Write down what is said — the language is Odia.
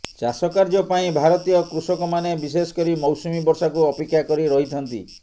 ଚାଷ କାର୍ଯ୍ୟ ପାଇଁ ଭାରତୀୟ କୃଷକମାନେ ବିଶେଷ କରି ମୌସୁମୀ ବର୍ଷାକୁ ଅପେକ୍ଷା କରି ରହିଥାନ୍ତି